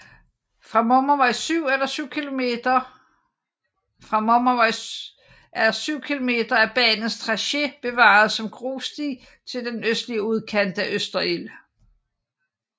Fra Mommervej er 7 km af banens tracé bevaret som grussti til den østlige udkant af Østerild